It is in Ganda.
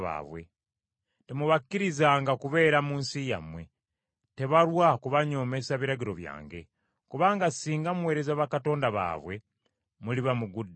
Temubakkirizanga kubeera mu nsi yammwe, tebalwa kubanyoomesa biragiro byange; kubanga singa muweereza bakatonda baabwe muliba mugudde mu mutego.”